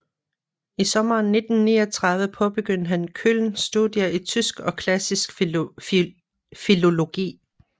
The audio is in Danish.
I sommeren 1939 påbegyndte han Köln studier i tysk og klassisk filologi